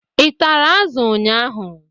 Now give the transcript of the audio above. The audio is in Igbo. Ị tara azụ ụnyaahụ?